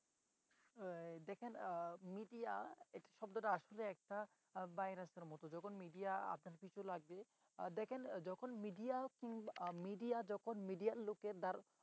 দেখেন media এই শব্দটা আসলে একটা ভাইরাসের মত। যখন media আপনার পিছু লাগবে দেখেন যখন media midea যখন media র লোকের